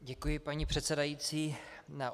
Děkuji, paní předsedající.